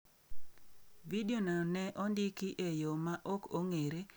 Vidiono ne ondiki e yo ma ok ong’ere gi jatich ma ne omiye luoro ni ibiro golo e tich.